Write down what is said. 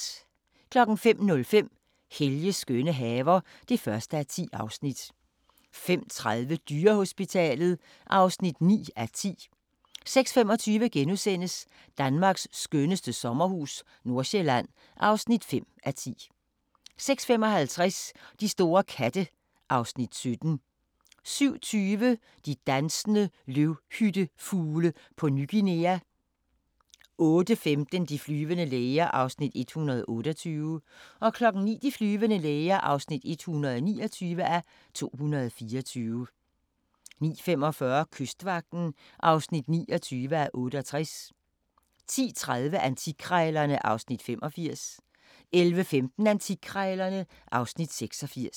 05:05: Helges skønne haver (1:10) 05:30: Dyrehospitalet (9:10) 06:25: Danmarks skønneste sommerhus - Nordøstsjælland (5:10)* 06:55: De store katte (Afs. 17) 07:20: De dansende løvhyttefugle på Ny Guinea 08:15: De flyvende læger (128:224) 09:00: De flyvende læger (129:224) 09:45: Kystvagten (29:68) 10:30: Antikkrejlerne (Afs. 85) 11:15: Antikkrejlerne (Afs. 86)